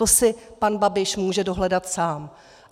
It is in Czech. To si pan Babiš může dohledat sám.